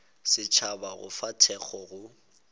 setšhaba go fa thekgo go